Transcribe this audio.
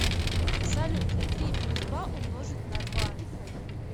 салют три плюс два умножить на два